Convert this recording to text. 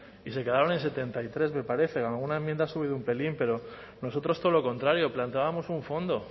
y se quedaron en setenta y tres me parece alguna enmienda ha subido un pelín pero nosotros todo lo contrario planteábamos un fondo